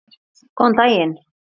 Góðan daginn!